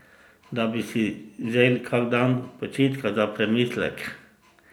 Da bi si vzel kak dan počitka za premislek?